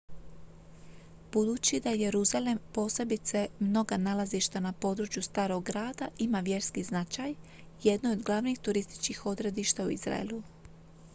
budući da jeruzalem posebice mnoga nalazišta na području starog grada ima vjerski značaj jedno je od glavnih turističkih odredišta u izraelu